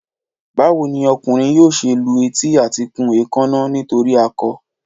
Báwo ni ọkùnrin yóò ṣe lu etí àti kun èékánná nítorí akọ?